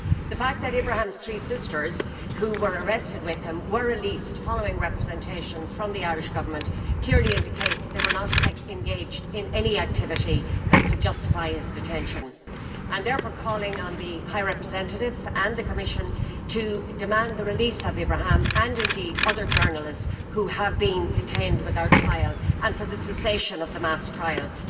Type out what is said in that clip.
The fact that Ibrahim's three sisters, who were arrested with him, were released following representations from the Irish Government clearly indicates they were not engaged in any activity that could justify his detention. I am therefore calling on the High Representative and the Commission to demand the release of Ibrahim, and indeed other journalists who have been detained without trial, and for the cessation of the mass trials.